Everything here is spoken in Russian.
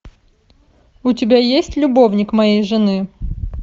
у тебя есть любовник моей жены